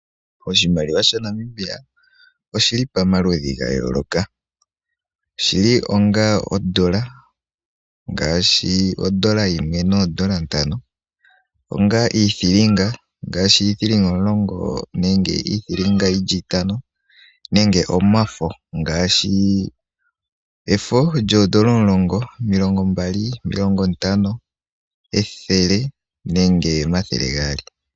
Oshimaliwa sha Namibia oshili pamaludhi ga yooloka, oshili onga ondola ngaashi oN$1 noo N$5, onga iithiliinga ngaashi 10C nenge 50C, onga omafo ngaashi efo lyoo N$10, N$20, N$50, N$100 nenge oN$200.